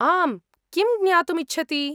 आम्, किं ज्ञातुम् इच्छति?